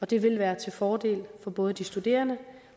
det vil være til fordel for både de studerende